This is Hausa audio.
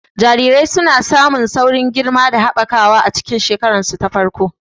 Jarirai suna samun saurin girma da haɓakawa a cikin shekararsu ta farko.